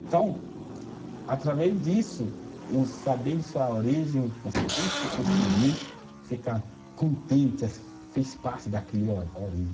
Então, através disso, o saber de sua origem, você você conseguir ficar contente, fez parte daquele ó, origem.